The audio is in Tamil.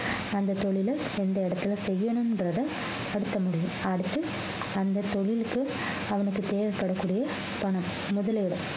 அந்த தொழிலை எந்த இடத்துல செய்யனுன்றதா அடுத்த முடிவு அடுத்து அந்த தொழிலுக்கு அவனுக்கு தேவைப்படக்கூடிய பணம் முதலீடு